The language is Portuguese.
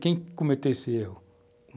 Quem cometeu esse erro?